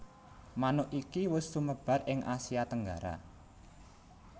Manuk iki wus sumebar ing Asia Tenggara